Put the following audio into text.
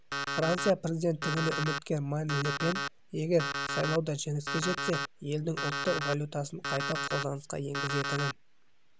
франция президенттігіне үміткер марин ле пен егер сайлауда жеңіске жетсе елдің ұлттық валютасын қайта қолданысқа енгізетінін